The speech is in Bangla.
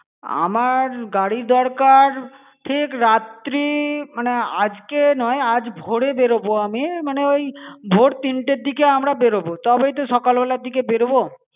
আমার গাড়ি দরকার ঠিক রাত্রি মানে আজকে নয় আজ ভোরে বেরোবো আমি মানে ওই ভোর তিনটের দিকে আমরা বেড়োবো তবেই তো সকালবেলার দিকে বেড়োবো